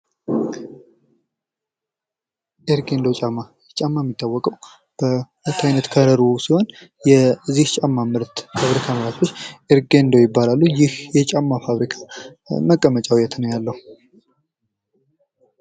ኤርጌንዶ ጫማ ይህ ጫማ የሚታወቀው በሁለት አይነት ከለሩ ሲሆን የዚህ ጫማ ምርት ኤርጌንዶ ይባላል። ይህ የጫማ ፋብሪካ መቀመጫው የት ነው ያለው?